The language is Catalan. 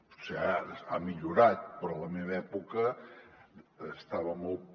potser ara ha millorat però en la meva època estava molt